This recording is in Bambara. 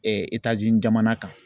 Etazini jamana kan